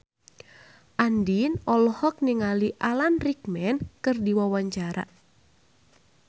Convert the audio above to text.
Andien olohok ningali Alan Rickman keur diwawancara